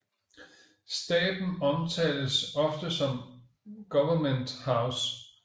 Staben omtales ofte som Government House